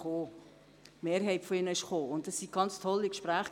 Die Mehrheit hat die Einladung angenommen.